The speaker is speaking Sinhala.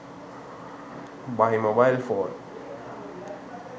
buy mobile phone